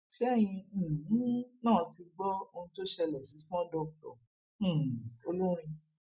ṣẹyìn um náà ti gbọ ohun tó ṣẹlẹ sí small doctor um olórin